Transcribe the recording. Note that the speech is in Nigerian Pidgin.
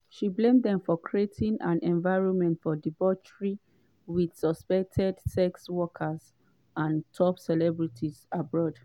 she blame dem for creating an “environment of debauchery” with suspected sex workers and top celebrities aboard.